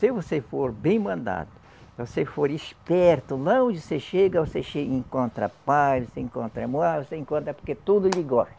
Se você for bem-mandado, se você for esperto, lá onde você chega, você che encontra paz, você encontra amor, ah você encontra porque tudo lhe gosta.